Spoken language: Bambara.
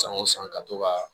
San o san ka to ka